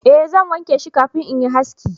eh zan wanke shi kafin in yi haski